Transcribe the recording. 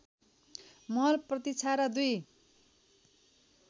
महल प्रतिक्षा र दुई